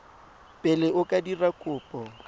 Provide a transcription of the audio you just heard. pele o ka dira kopo